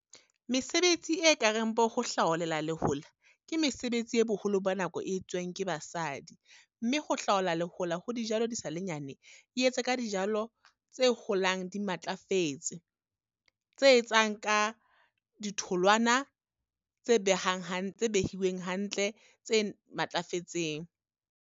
Mesebetsi e ka reng bo ho hlaolela lehola, ke mesebetsi e boholo ba nako e etsuwang ke basadi. Mme ho hlaola lehola ho dijalo di sa le nyane, e etse ka dijalo tse holang di matlafetse, tse etsang ka ditholwana tse behang tse behileng hantle, tse matlafetseng.